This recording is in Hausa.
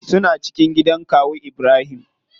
Suna cikin gidan kawu ibrahim.